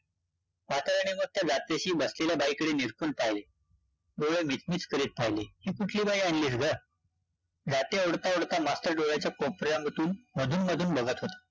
बसलेल्या बाईकडे निरखून पाहिले, डोळे मिचमिच करीत पाहिले, ही कुठली बाई आणलीस गं? जाती ओढता-ओढता मास्तर डोळ्याच्या कोपऱ्यामधून मधून-मधून बघत होता